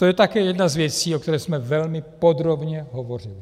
To je také jedna z věcí, o které jsme velmi podrobně hovořili.